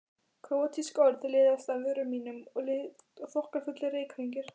Króatísk orð liðast af vörum mínum líkt og þokkafullir reykhringir.